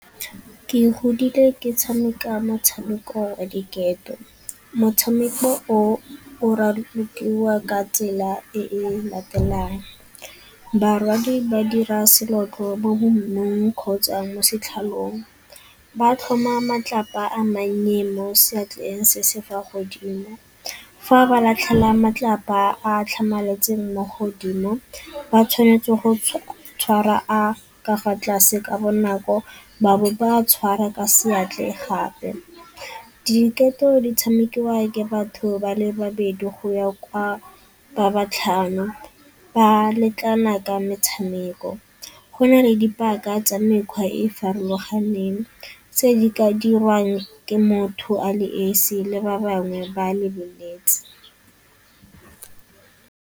Ke godile ke tshameka motshameko wa diketo. Motshameko o o ralokiwa ka tsela e latelang, barwadi ba dira bo mo mmung kgotsa mo setlhalong ba tlhoma matlapa a mannye mo seatleng se se fa godimo. Fa ba latlhela malapa a a tlhamaletseng mo godimo, ba tshwanetse go tshwara a ka fa tlase ka bonako ba bo ba a tshwara ka gape. Diketo di tshamekiwa ke batho ba le babedi go ya kwa ba ba tlhano ba lekana ka metshameko. Go na le di baka tsa mekgwa e e farologaneng tse di ka diriwang ke motho a le esi le ba bangwe ba lebeletse.